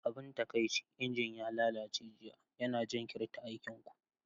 Abin taƙaici, injin ya lalace jiya, yana jinkirta aikin ku.